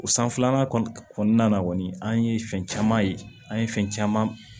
O sanfɛlan kɔni kɔnɔna na kɔni an ye fɛn caman ye an ye fɛn caman